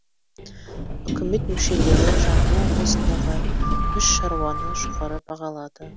үкімет мүшелері жамбыл облысындағы үш шаруаны жоғары бағалады